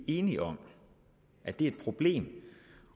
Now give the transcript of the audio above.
enige om at det er et problem